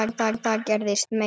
Og það gerðist meira.